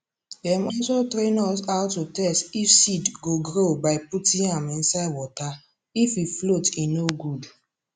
dem also train us how to test if seed go grow by putting am inside waterif he float he no good